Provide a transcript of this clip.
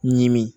Ɲimi